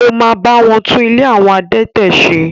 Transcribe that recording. Ó ma bá wọn tún “ ilé àwọn adẹtẹ̀” se.